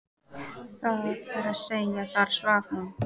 Það er að segja: þar svaf hún.